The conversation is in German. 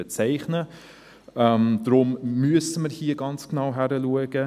Deshalb müssen wir hier ganz genau hinschauen.